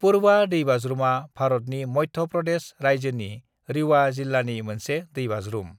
पुरवा दैबाज्रुमा भारतनि मध्य प्रदेश रायजोनि रीवा जिल्लानि मोनसे दैबाज्रुम।